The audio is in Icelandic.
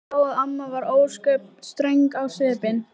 Ég sá að amma var ósköp ströng á svipinn.